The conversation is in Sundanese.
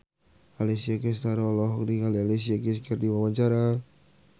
Alessia Cestaro olohok ningali Alicia Keys keur diwawancara